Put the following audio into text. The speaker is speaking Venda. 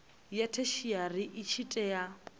ya theshiari i tshi tea